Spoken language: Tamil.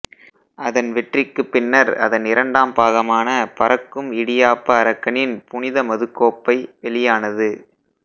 அதன் வெற்றிக்குப்பின்னர் அதன் இரண்டாம் பாகமான பறக்கும் இடியாப்ப அரக்கனின் புனித மதுக்கோப்பை வெளியானது